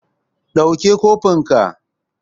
Ɗauke cofin can!